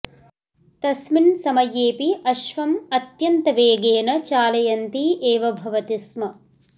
तस्मिन् समयेऽपि अश्वम् अत्यन्तवेगेन चालयन्ती एव भवति स्म